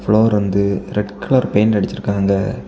Floor வந்து red colour paint அடிச்சிருக்காங்க.